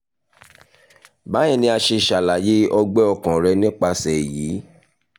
bíyẹn ni a ṣe ṣalaye ọgbẹ ọkàn rẹ nipasẹ eyi